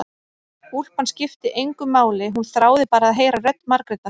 Úlpan skipti engu máli, hún þráði bara að heyra rödd Margrétar.